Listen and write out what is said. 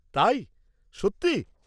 তাই, সত্যি?